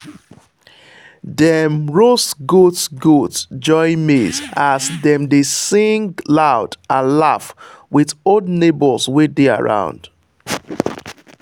dem roast goat goat joy maize as dem dey sing loud and laugh with old neighbours wey dey around.